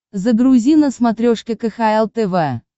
загрузи на смотрешке кхл тв